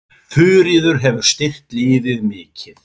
Þuríður hefur styrkt liðið mikið.